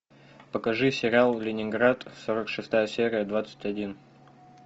покажи сериал ленинград сорок шестая серия двадцать один